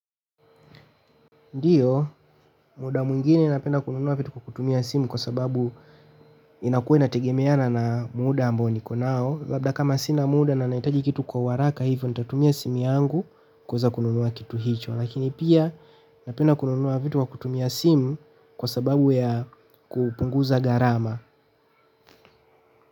Ndio, muda mwingine napenda kununua vitu kwa kutumia simu kwa sababu inakuwa inategemeana na muda ambao niko nao. Labda kama sina muda na nahitaji kitu kwa uharaka hivyo, nitatumia simu yangu kuweza kununua kitu hicho. Lakini pia napenda kununua vitu kwa kutumia simu kwa sababu ya kupunguza gharama.